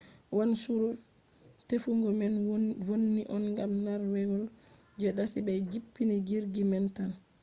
wanchuru tefugo man vonni on gam nargewol je dasi be jippini jirgi man tan